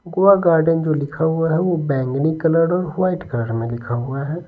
Goa garden जो लिखा हुआ है वो बैंगनी कलर और वाइट कलर में लिखा हुआ है।